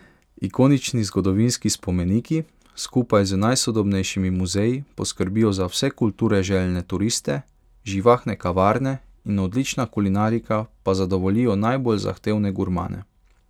Ikonični zgodovinski spomeniki skupaj z najsodobnejšimi muzeji poskrbijo za vse kulture željne turiste, živahne kavarne in odlična kulinarika pa zadovoljijo najbolj zahtevne gurmane.